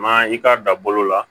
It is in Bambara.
Ma i k'a dan bolo la